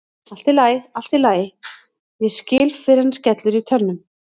Allt í lagi, allt í lagi, ég skil fyrr en skellur í tönnum.